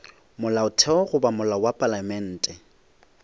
molaotheo goba molao wa palamente